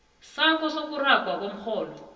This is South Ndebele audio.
sakho sokuragwa komrholo